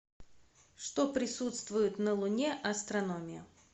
что присутствует на луне астрономия